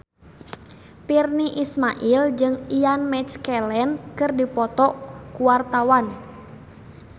Virnie Ismail jeung Ian McKellen keur dipoto ku wartawan